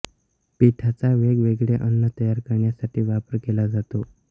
पीठाचा वेगवेगळे अन्न तयार करण्यासाठी वापर केला जातो